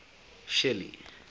shelly